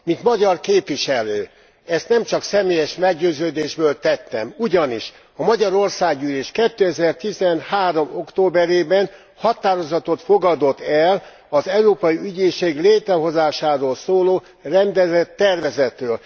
Mint magyar képviselő, ezt nem csak személyes meggyőződésből tettem, ugyanis a Magyar Országgyűlés 2013 októberében határozatot fogadott el az Európai Ügyészség létrehozásáról szóló rendelettervezetről.